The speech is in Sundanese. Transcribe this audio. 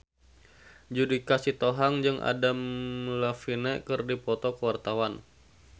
Judika Sitohang jeung Adam Levine keur dipoto ku wartawan